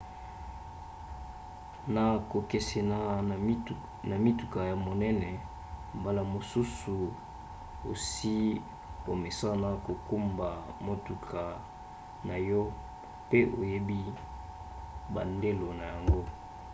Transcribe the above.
na kokesena na mituka ya minene mbala mosusu osi omesana kokumba motuka na yo pe oyebi bandelo na yango